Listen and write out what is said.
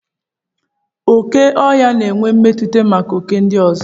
Okè ọhịa na-enwe mmetụta maka oké ndị ọzọ.